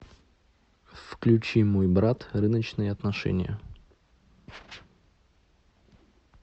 включи мой брат рыночные отношения